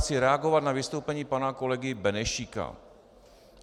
Chci reagovat na vystoupení pana kolegy Benešíka.